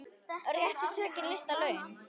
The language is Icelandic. Réttu tökin lista laun.